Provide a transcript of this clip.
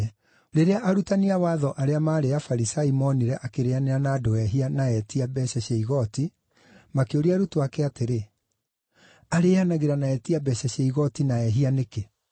Rĩrĩa arutani a watho arĩa maarĩ Afarisai moonire akĩrĩĩanĩra na andũ ehia na etia mbeeca cia igooti, makĩũria arutwo ake atĩrĩ, “Arĩĩanagĩra na etia mbeeca cia igooti na ehia nĩkĩ?”